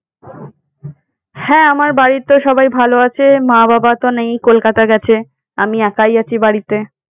হ্যাঁ আমার বাড়ির তো সবাই ভালো আছে। মা বাবা তো নেই কলকাতা গেছে আমি একাই আছি বাড়িতে।